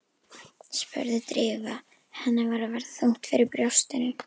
spurði Drífa, henni var að verða þungt fyrir brjóstinu.